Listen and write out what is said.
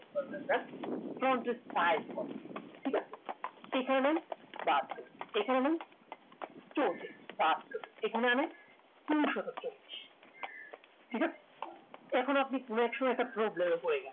front এর size কত ঠিক আছে এখানে বছর এখানে চব্বিশ বছর এখানে আমি দুশতক চব্বিশ ঠিকাছে এখন আপনি কোনো একসময়ে problem এ পড়ে গেলেন